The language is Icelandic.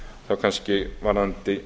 þá kannski varðandi